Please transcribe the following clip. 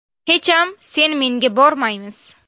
Hecham sen-menga bormaymiz.